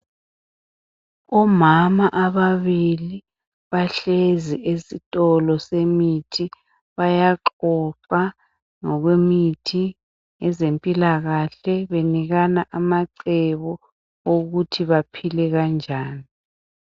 Omama ababili bahlezi esitolo semithi .Bayaxoxa ngokwemithi lezempilakahle benikana amacebo okuthi baphile kanjani .